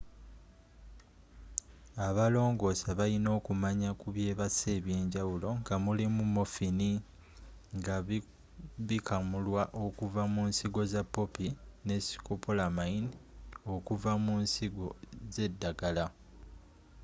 abalongoosa baliina okumanya ku byebasa eby'enjawulo nga mulimu morphine” nga bikamulwa okuva munsigo za poppy” ne scopolamine”e okuva mu nsigo zeddagala